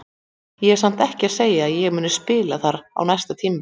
Ég er samt ekki að segja að ég muni spila þar á næsta tímabili.